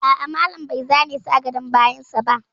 A'a, malam bai zane shi a gadon bayan sa ba